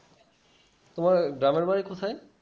তোমার গ্রামের বাড়ি কোথায়?